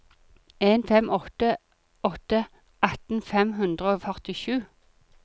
en fem åtte åtte atten fem hundre og førtisju